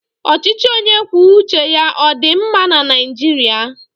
Ọchịchị onye kwuo uche ya ọ dị mma na Naijiria?